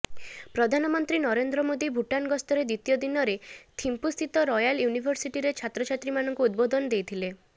ପ୍ରଧାନମନ୍ତ୍ରୀ ନରେନ୍ଦ୍ର ମୋଦି ଭୂଟାନ ଗସ୍ତର ଦ୍ବିତୀୟ ଦିନରେ ଥିମ୍ପୁସ୍ଥିତ ରୟାଲ ୟୁନିଭର୍ସିଟିରେ ଛାତ୍ରଛାତ୍ରୀମାନଙ୍କୁ ଉଦବୋଧନ ଦେଇଥିଲେ